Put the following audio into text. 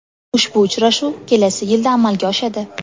Ushbu uchrashuv kelasi yilda amalga oshadi.